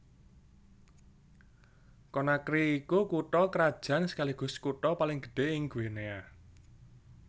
Conakry iku kutha krajan sekaligus kutha paling gedhé ing Guinea